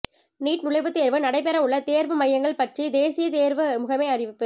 NEET நுழைவுத் தேர்வு நடைபெறவுள்ள தேர்வு மையங்கள் பற்றி தேசிய தேர்வு முகமை அறிவிப்பு